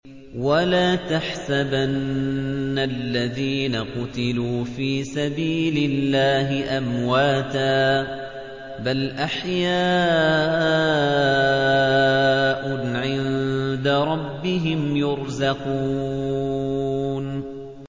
وَلَا تَحْسَبَنَّ الَّذِينَ قُتِلُوا فِي سَبِيلِ اللَّهِ أَمْوَاتًا ۚ بَلْ أَحْيَاءٌ عِندَ رَبِّهِمْ يُرْزَقُونَ